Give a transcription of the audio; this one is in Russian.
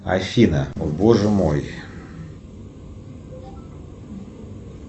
афина о боже мой